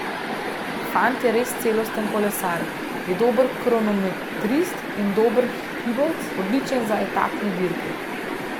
Fant je res celosten kolesar, je dober kronometrist in dober hribovec, odličen za etapne dirke.